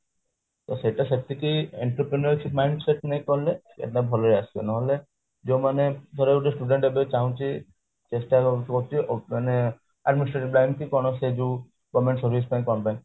ତ ସେଇଟା ସେତିକି entertain ରେ mind set ନ କଲେ ଏଇଟା ଭଲସେ ଆସିବ ନହେଲେ ଜମା ନାଇ ଧର ଗୋଟେ student ଏବେ ଚାହୁଁଛି ଚେଷ୍ଟା କରୁଛି ମାନେ ଲିନେ କି କଣ ସେ ଯୋଉ government service ପାଇଁ